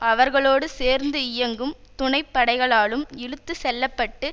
அவர்களோடு சேர்ந்து இயங்கும் துணைப்படைகளாலும் இழுத்து செல்ல பட்டு